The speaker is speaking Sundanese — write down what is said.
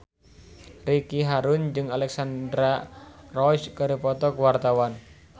Ricky Harun jeung Alexandra Roach keur dipoto ku wartawan